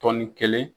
Tɔnni kelen